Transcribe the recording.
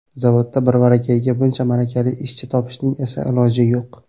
Zavodda birvarakayiga buncha malakali ishchi topishning esa iloji yo‘q.